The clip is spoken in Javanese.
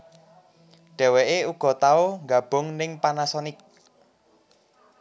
Dheweké uga tau nggabung ning Panasonic